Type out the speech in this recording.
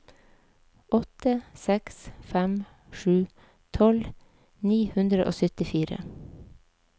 åtte seks fem sju tolv ni hundre og syttifire